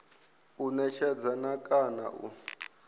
u netshedza na kana u